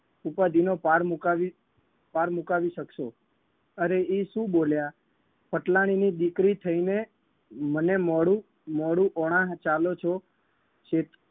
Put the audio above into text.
ઉપાધિનો પાર મુકાવી પાર મુકાવી શકશો અરે ઈ શું બોલ્યા પટલાણીની દીકરી થઈને મને મોડું મોડું ઓણા ચાલો છો શેતુ